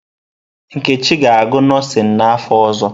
Nkechi ga-agụ nọọsịn n'afọ ọzọ.